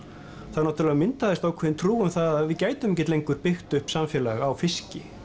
þá náttúrulega myndaðist ákveðin trú um það að við gætum ekki lengur byggt upp samfélag á fiski